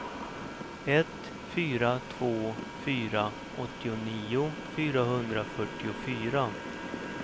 ett fyra två fyra åttionio fyrahundrafyrtiofyra